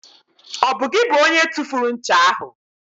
Ọ bụ gị bụ onye tụfuru ncha ahụ?